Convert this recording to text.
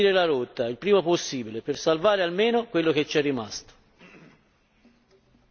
Dobbiamo quindi invertire la rotta il prima possibile, per salvare almeno quello che ci è rimasto.